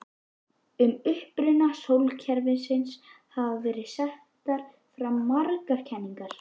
Um uppruna sólkerfisins hafa verið settar fram margar kenningar.